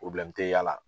tɛ y'a la